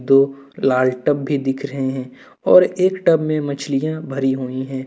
दो लाल टब भी दिख रहे हैं और एक टब में मछलियाँ भरी हुई हैं।